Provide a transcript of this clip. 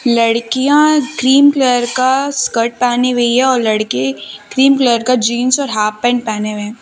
लड़कियां cream colour का skirt पहनी हुई है और लड़के क्रीम कलर का जींस और हाफ पैंट पहने हुए हैं।